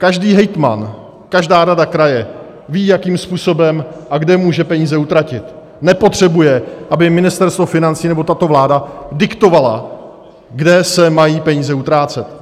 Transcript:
Každý hejtman, každá rada kraje ví, jakým způsobem a kde může peníze utratit, nepotřebuje, aby Ministerstvo financí nebo tato vláda diktovaly, kde se mají peníze utrácet.